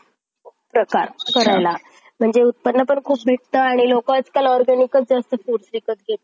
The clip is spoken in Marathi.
fifty-fifty एकदम मी असं म्हणत नाही की college एकदम अह म्हणजे negative way किंवा student एकदम negative